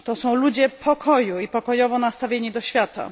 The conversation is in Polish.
To są ludzie pokoju i pokojowo nastawieni do świata.